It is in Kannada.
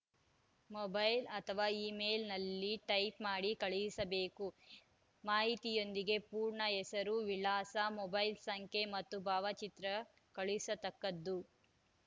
ಮೊಬೈಲ್‌ ಅಥವಾ ಈಮೇಲ್‌ ನಲ್ಲಿ ಟೈಪ್‌ ಮಾಡಿ ಕಳುಹಿಸಬೇಕು ಮಾಹಿತಿಯೊಂದಿಗೆ ಪೂರ್ಣ ಹೆಸರು ವಿಳಾಸ ಮೊಬೈಲ್‌ ಸಂಖ್ಯೆ ಮತ್ತು ಭಾವಚಿತ್ರ ಕಳುಹಿಸತಕ್ಕದ್ದು